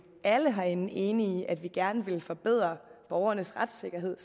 alle herinde enige om at vi gerne vil forbedre borgernes retssikkerhed